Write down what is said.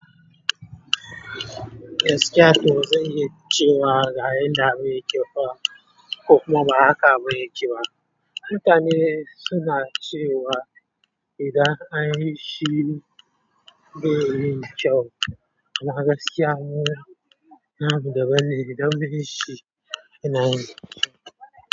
Gaskiya to zan yi cewa garin na bai yi kyau ko kuma ba haka abun yake ba? Mutane suna cewa idan an yi shi bai yi kyau ba, amma gaskiya muna nan da bani don bin shi ina za su tafi.